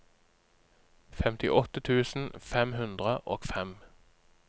femtiåtte tusen fem hundre og fem